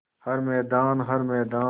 हर मैदान हर मैदान